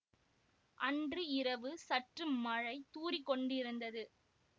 அன்று இரவு சற்று மழை தூறிக்கொண்டிருந்தது